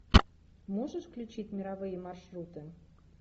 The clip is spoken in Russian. можешь включить мировые маршруты